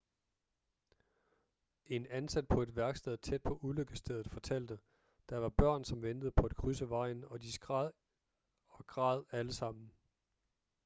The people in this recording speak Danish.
en ansat på et værksted tæt på ulykkesstedet fortalte der var børn som ventede på at krydse vejen og de skreg og græd alle sammen